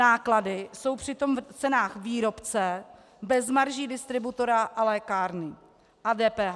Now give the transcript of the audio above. Náklady jsou přitom v cenách výrobce bez marží distributora a lékárny a DPH.